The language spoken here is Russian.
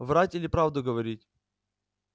врать или правду говорить